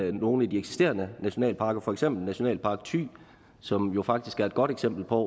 i nogle af de eksisterende nationalparker for eksempel nationalpark thy som jo faktisk er et godt eksempel på